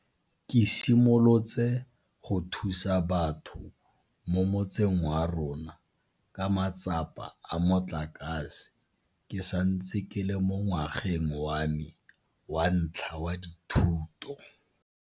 Ke simolotse go thusa batho mo motseng wa rona ka matsapa a motlakase ke santse ke le mo ngwageng wa me wa ntlha wa dithuto.